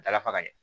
Dala faga ɲɛ